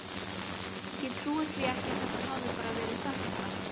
Ég trúi því ekki að það hafi bara verið þetta.